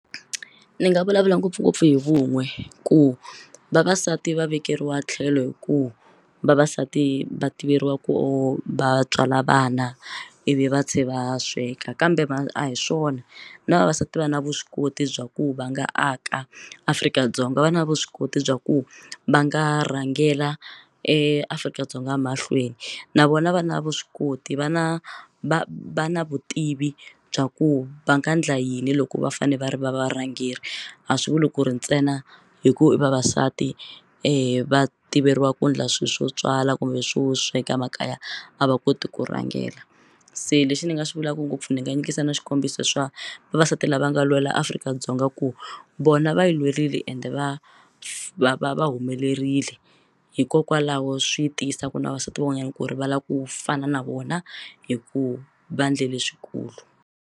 Ndzi nga vulavula ngopfungopfu hi vun'we ku vavasati va vekeriwa tlhelo hi ku vavasati va tiveriwa ku va tswala vana ivi va tlhela va sweka kambe va a hi swona na vavasati va na vuswikoti bya ku va nga aka Afrika-Dzonga va na vuswikoti bya ku va nga rhangela eAfrika-Dzonga mahlweni na vona va na vuswikoti va na va va na vutivi bya ku va nga endla yini loko va fanele va ri va varhangeri a swi vuli ku ri ntsena hi ku i vavasati va tiveriwa ku endla swilo swo tswala kumbe swo sweka makaya a va koti ku rhangela se lexi ni nga xi vulaka ngopfu ndzi nga endlisa na swikombiso swa vavasati lava nga lwela Afrika-Dzonga ku vona va yi lwerile ende va va va va humelerile hikokwalaho swi tiyisa ku na vavasati van'wanyana ku ri va lava ku fana na vona hi ku va endle leswikulu.